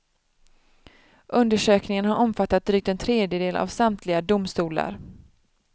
Undersökningen har omfattat drygt en tredjedel av samtliga domstolar.